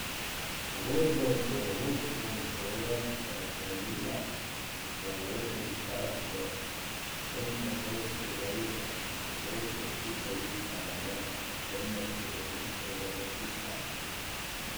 Pogodbo z vodstvom šole pa je sklenila za določen čas do konca šolskega leta, dokler se učiteljica ne vrne s porodniškega dopusta.